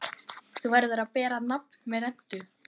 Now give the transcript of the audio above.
Þú verður að bera nafn með rentu.